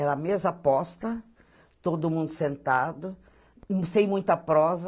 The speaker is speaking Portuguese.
Era mesa posta, todo mundo sentado, sem muita prosa.